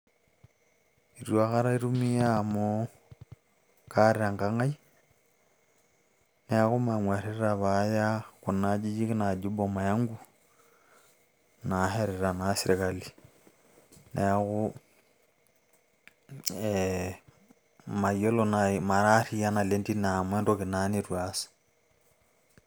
eitu aikata itumia amu kaata enkang ai niaku nang'uarrita paaya kuna ajijik naaji boma yangu naashetita naa serkali neeku ee mayiolo naaji mara arriyia naleng tine amu entoki naa nitu aas.